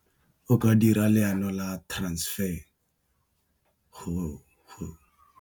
O ka dira leano la transfer .